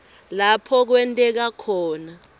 lapho kwenteka khona